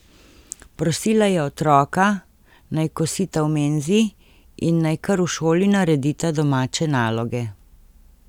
Prosila je otroka, naj kosita v menzi in naj kar v šoli naredita domače naloge.